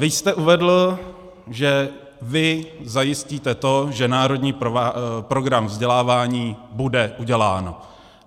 Vy jste uvedl, že vy zajistíte to, že národní program vzdělávání bude udělán.